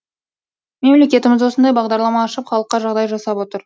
мемлекетіміз осындай бағдарлама ашып халыққа жағдай жасап отыр